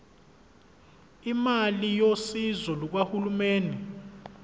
imali yosizo lukahulumeni